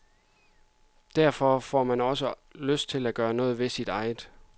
Derfor får man også lyst til at gøre noget ved sit eget.